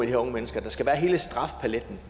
her unge mennesker der skal være hele strafpaletten